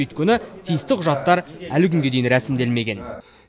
өйткені тиісті құжаттар әлі күнге дейін рәсімделмеген